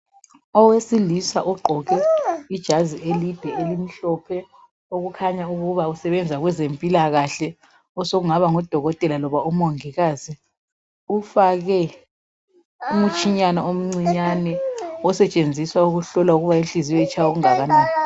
Owesilisa ugqoke ijazi elimhlophe, okukhanya ukuba usebenza kwezempilakahle, osokungaba ngudokotela loba umongikazi. Ufake umtshinyana omncinyane osetshenziswa ukuhlola ukuba inhliziyo itshaya kangakanani.